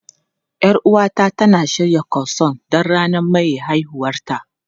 Yar uwata tana shirya Croissant don ranar maye haihuwarta.